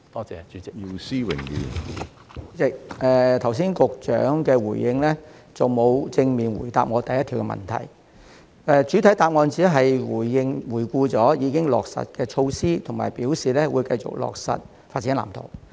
主席，局長剛才的主體答覆沒有正面回答我質詢的第一部分，他在主體答覆只回顧了已經落實的措施，以及表示會繼續落實《發展藍圖》。